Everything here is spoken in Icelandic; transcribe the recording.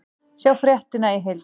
Sjá fréttina í heild